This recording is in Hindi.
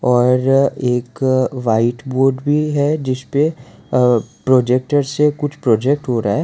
और एक व्हाइट बोर्ड भी है जिसपे अ प्रोजेक्टर से कुछ प्रोजेक्ट हो रहा है।